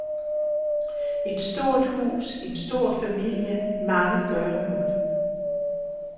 Et stort hus, en stor familie, mange gøremål.